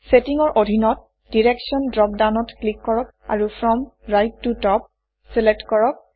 settings ৰ অধীনত direction drop ডাউনত ক্লিক কৰক আৰু ফ্ৰম ৰাইট ত টপ চিলেক্ট কৰক